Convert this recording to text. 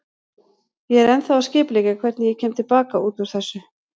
Ég er ennþá að skipuleggja hvernig ég kem til baka út úr þessu.